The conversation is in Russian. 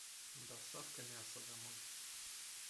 доставка мяса домой